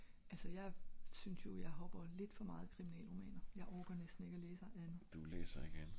altså jeg er synes jo jeg hopper lidt for meget i kriminal romaner jeg orker næsten ikke læse andet